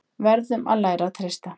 Verðum að læra að treysta